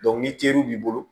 ni teriw b'i bolo